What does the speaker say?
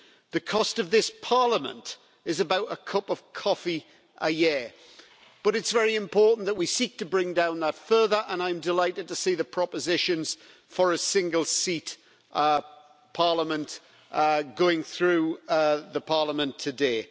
The cost of this Parliament is about a cup of coffee a year, but it is very important that we seek to bring down that further and I am delighted to see that propositions for a single seat Parliament are going through Parliament today.